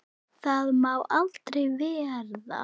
Það má aldrei verða.